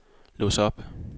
lås op